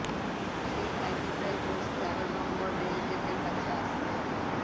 সেই কাজেই প্রায় রোজ তেরো নম্বর রেলগেটের কাছে আসতে